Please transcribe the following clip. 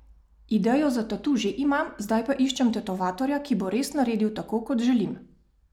Idejo za tatu že imam, zdaj pa iščem tetovatorja, ki bo res naredil tako, kot želim.